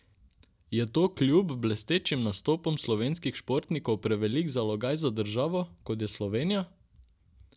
Je to kljub blestečim nastopom slovenskih športnikov prevelik zalogaj za državo, kot je Slovenija?